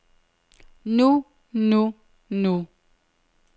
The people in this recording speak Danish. nu nu nu